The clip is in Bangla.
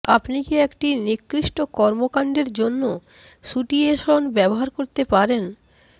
আপনি কি একটি নিকৃষ্ট কর্মকাণ্ডের জন্য স্যুটিয়েশন ব্যবহার করতে পারেন